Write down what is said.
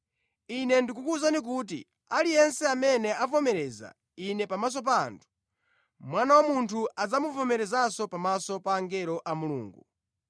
“Ine ndikukuwuza kuti, aliyense amene avomereza Ine pamaso pa anthu, Mwana wa Munthu adzamuvomerezanso pamaso pa angelo a Mulungu.